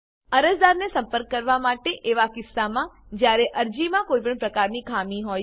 અરજદારને સંપર્ક કરવા માટે એવા કિસ્સામાં જ્યારે અરજીમાં કોઈપણ પ્રકારની ખામી હોય છે